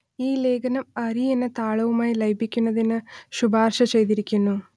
ഈ ലേഖനം അരി എന്ന താളുമായി ലയിപ്പിക്കുന്നതിന് ശുപാർശ ചെയ്തിരിക്കുന്നു